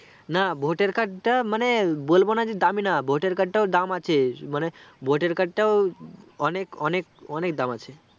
না voter card টা মানে বলবোনা যে দামি না voter card টাও অনেক অনেক অনেক দাম আছে